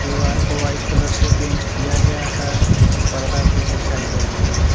दीवार को white colour से पेंट किया गया है और पर्दा भी दिखाई दे रहा है।